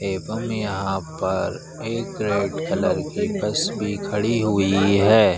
एवं यहाँ पर एक रेड कलर की बस भी खड़ी हुई है।